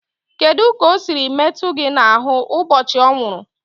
Kedu ka o siri metụ gị n'ahụ ụbọchị ọ nwụrụ?